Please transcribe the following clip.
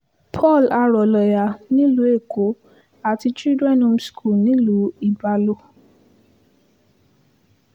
paul arọ̀lọ̀yà nílùú èkó àti children home schoo l nílùú ibalo